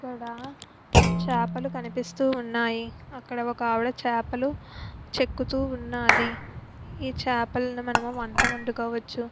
ఇక్కడ చాపలు కనిపిస్తూ ఉన్నాయి. అక్కడ ఒకావిడ చాపలు చెక్కుతు ఉన్నాది. ఈ చాపాలని మనము వొంట వొండుకోవచ్చు.